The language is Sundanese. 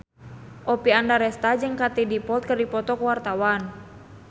Oppie Andaresta jeung Katie Dippold keur dipoto ku wartawan